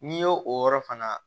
N'i y'o o yɔrɔ fana